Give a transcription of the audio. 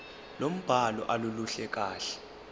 lombhalo aluluhle kahle